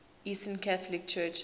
eastern catholic churches